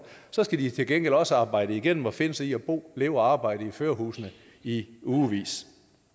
så skal de til gengæld også arbejde igennem og finde sig i at bo leve og arbejde i førerhusene i ugevis